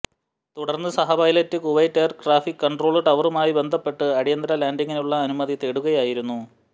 തുടര്ന്ന് സഹപൈലറ്റ് Kuwait air traffic control ടവറുമായി ബന്ധപ്പെട്ട് അടിയന്തര ലാന്റിങ്ങിനുള്ള അനുമതി തേടുകയായിരുന്നു